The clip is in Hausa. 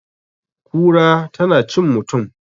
kura tana cin mutum?